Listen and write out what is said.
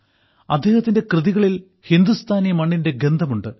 അദ്ദേഹത്തിന്റെ കൃതികളിൽ ഹിന്ദുസ്ഥാനി മണ്ണിന്റെ ഗന്ധമുണ്ട്